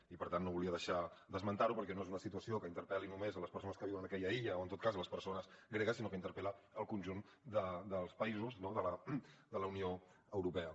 i per tant no volia deixar d’esmentar ho perquè no és una situació que interpel·li només a les persones que viuen a aquella illa o en tot cas les persones gregues sinó que interpel·la el conjunt dels països de la unió europea